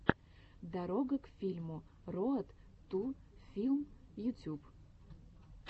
дорога к фильму роад ту филм ютюб